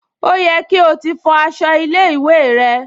Ó yẹ kí o ti fọ aṣọ ilé-ìwé rẹ?